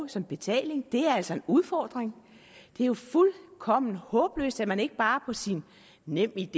som betaling er altså en udfordring det er jo fuldkommen håbløst at man ikke bare på sin nemid